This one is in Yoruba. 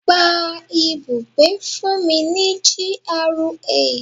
Gba ibùgbé fún mi ní GRA.